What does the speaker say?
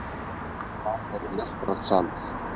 Þar er lestrarsalur